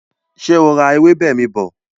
Ṣé o ra ewébè mi bọ̀?